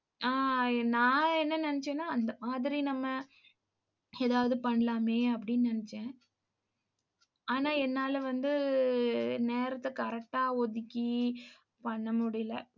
ஆஹ் நான் என்ன நினைச்சேன்னா அந்த மாதிரி நம்ம ஏதாவது பண்ணலாமே அப்படின்னு நினைச்சேன். ஆனா, என்னால வந்து நேரத்தை correct ஆ ஒதுக்கி பண்ண முடியலை